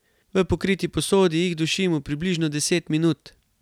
V pokriti posodi jih dušimo približno deset minut.